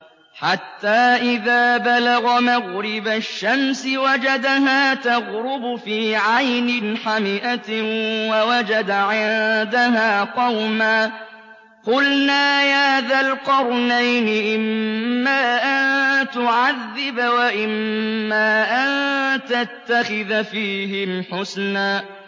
حَتَّىٰ إِذَا بَلَغَ مَغْرِبَ الشَّمْسِ وَجَدَهَا تَغْرُبُ فِي عَيْنٍ حَمِئَةٍ وَوَجَدَ عِندَهَا قَوْمًا ۗ قُلْنَا يَا ذَا الْقَرْنَيْنِ إِمَّا أَن تُعَذِّبَ وَإِمَّا أَن تَتَّخِذَ فِيهِمْ حُسْنًا